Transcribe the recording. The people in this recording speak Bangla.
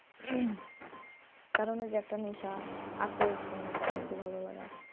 কারণ ওই যে একটা নেশা আকর্ষণ ওটার প্রতি ভালোলাগা